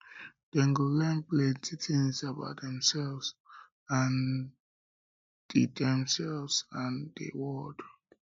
dem go learn plenty tins about demselves and di demselves and di world